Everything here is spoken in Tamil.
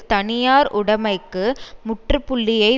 தனியார் உடமைக்கு முற்றுப்புள்ளியை